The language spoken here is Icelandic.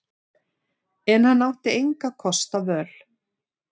En hann átti engra kosta völ.